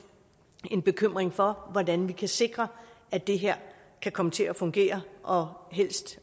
en bekymring for hvordan vi kan sikre at det her kan komme til at fungere og helst